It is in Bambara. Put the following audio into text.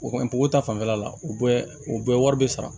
O kɔni ta fanfɛla la u bɛɛ u bɛɛ wari bɛ sara